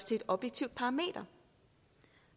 til et objektivt parameter